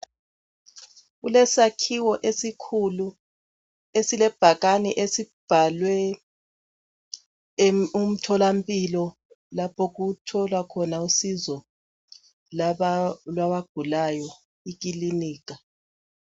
Kulesakhiwo esikhulu esilebhakane esibhalwe umtholampilo, lapho okutholwa khona usizo lwabagulayo, ikilinika.